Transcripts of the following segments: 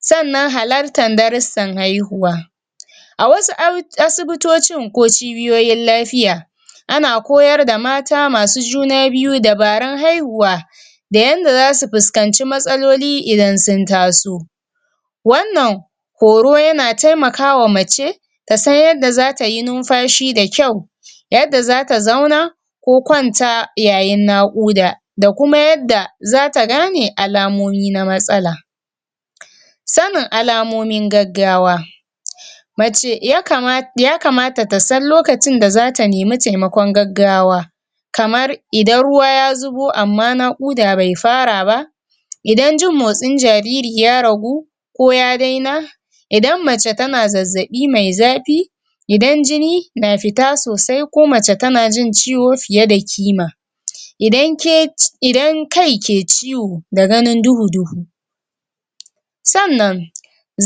sannan halartar darussan haihuwa a wasu asibitocin ko cibiyoyin lafiya ana koyar da mata masu junna biyu dabarun haihuwa da yanda zasu piskanci matsaloli idan sun taso wannan horo yana taimakawa mace ta san yadda zata yi numfashi da kyau yadda zata zauna ko kwanta yayin naƙuda da kuma yadda zata gane alamomi na matsala sanin alamomin gaggawa mace um ya kamata ta san lokacin da za ta nemi taimakon gaggawa kamar idan ruwa ya zubo amma naƙuda bai fara ba idan jin motsin jariri ya ragu ko ya daina idan mace tana zazzaɓi mai zafii idan jini na fita sosai ko mace tana jin ciwo fiye da kima idan um idan kai ke ciwo ko ganin duhu-duhu sannan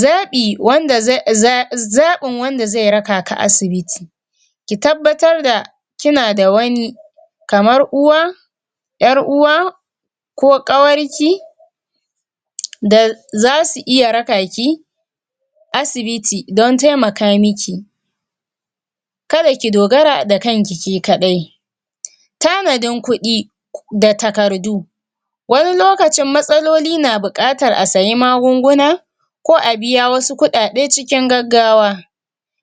zaɓi wanda um zaɓin wanda zai raka ka asibiti ki tabbatar da kina da wani kamar uwa ƴar uwa ko kawar ki da zasu iya raka ki asibiti don taimaka miki kada ki dogara da kanki ke kaɗai tanadin kuɗi da takardu wani lokacin matsaloli na buƙatar a sayi magunguna ko a biya wasu kuɗaɗe cikin gaggawa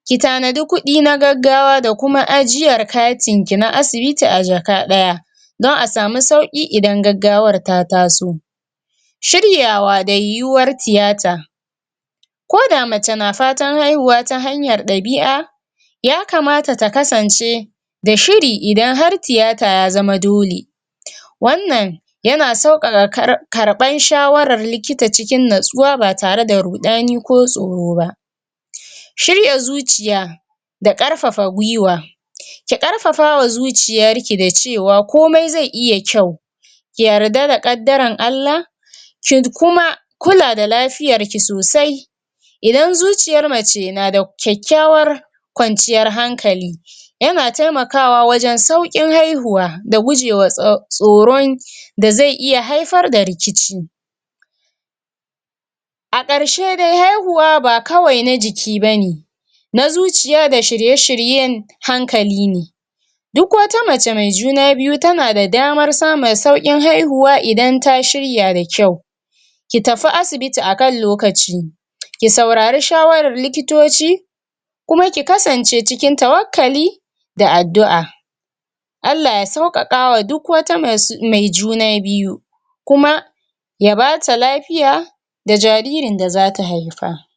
ki tanadi kuɗi na gaggawa da kuma ajiyar katin ki na asibiti a jaka daya don a samu sauƙi idan gaggawar ta taso shiryawa da yiwuwar riyata ko da mace na fatar ya kamata ta kasance da shiri idan har tiyata ya zama dole wannan yana sauƙaƙa karɓan shawarar likita cikin natsuwa ba tare da ruɗani ko tsoro ba shirya zuciya da ƙarfafa gwiwa ki ƙarfafawa zuciyarki da cewa komai zai iya kyau ki yarda da ƙaddaran Allah kid kuma da lafiyar ki sosai idan zuciyar mace na da kyakkyawar kwanciyar hankali yana taimakawa wajen sauƙin haihuwa da gujewa um tsoron da zai iya haifar da rikici a ƙarshe dai haihuwa ba kawai na jiki bane na zuciya da shirye-shiryen hankali ne duk wata mace mai juna biyu tana da damar samu sauƙin haihuwa idan ta shirya da kyau ki tafi asibitia kan lokaci ki saurari shawarar likitoci kuma ki kasance cikin tawakkali da addu'a Allah ya saukaƙa a duk wata um mai juna biyu kuma ya bata lafiya da jaririn da zata haifa.